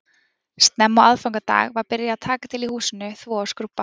Snemma á aðfangadag var byrjað að taka til í húsinu, þvo og skrúbba